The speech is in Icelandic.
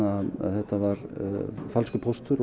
þetta var falskur póstur